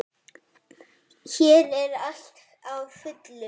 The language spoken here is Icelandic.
Hér er allt á fullu.